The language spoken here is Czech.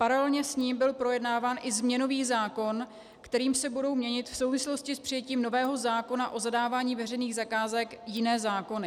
Paralelně s ním byl projednáván i změnový zákon, kterým se budou měnit v souvislosti s přijetím nového zákona o zadávání veřejných zakázek jiné zákony.